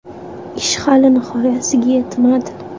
Ish hali nihoyasiga yetmadi.